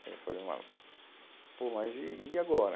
Aí eu falei, mas, pô, mas e, e agora?